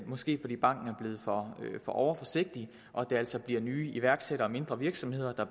måske fordi banken er blevet for overforsigtig og det altså bliver nye iværksættere og mindre virksomheder der